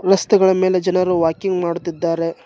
ರಸ್ತೆಗಳ ಮೇಲೆ ಜನರು ವಾಕಿಂಗ್ ಮಾಡುತ್ತಿದ್ದಾರೆ.